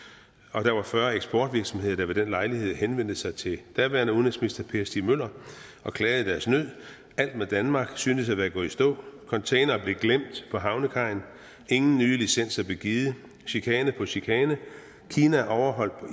og der var fyrre eksportvirksomheder der ved den lejlighed henvendte sig til daværende udenrigsminister per stig møller og klagede deres nød alt med danmark syntes at være gået i stå containere blev glemt på havnekajen ingen nye licenser blev givet chikane på chikane kina overholdt på